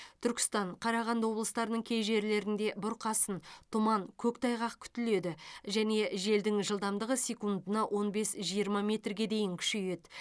түркістан қарағанды облыстарының кей жерлерінде бұрқасын тұман көктайғақ күтіледі және желдің жылдамдығы секундына он бес жиырма метрге дейін күшейеді